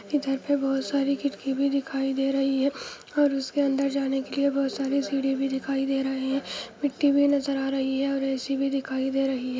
इधर के बहुत सरे खिड़की भी दिखाई दे रही है | और इसकी अन्दर जाने के बहुत सारि सीढ़ी बी दिखाई दे रही हे| मिटटी बी नज़र आ रही है और ए सि बी दिखाई देरही हे |